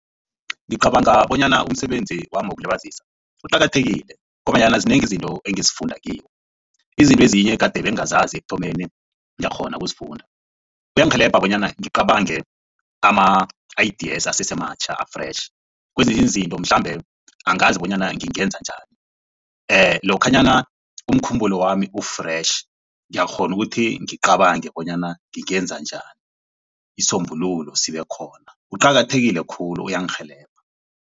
Ngicabanga bonyana umsebenzi wami wokulibazisa uqakathekile ngombanyana zinengi izinto engizifunda kiwo. Izinto ezinye kade bengazazi ekuthomeni ngiyakghona ukuzifunda, kuyangirhelebha bonyana ngicabange ama-ideas asesematjha a-fresh. Kwezinye izinto mhlambe angazi bonyana ngingenza njani lokhanyana umkhumbulwami u-fresh ngiyakghona ukuthi ngicabange bonyana ngingenza njani isisombululo sibe khona uqakathekile khulu uyangirhelebha.